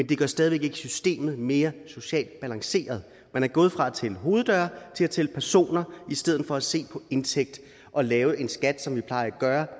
det gør stadig væk ikke systemet mere socialt balanceret man er gået fra at tælle hoveddøre til at tælle personer i stedet for at se på indtægt og lave en skat som vi plejer at gøre